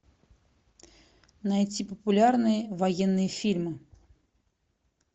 найти популярные военные фильмы